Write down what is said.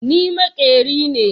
Ni makeri me.